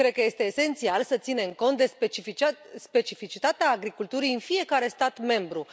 Cred că este esențial să ținem cont de specificitatea agriculturii în fiecare stat membru.